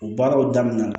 O baaraw damina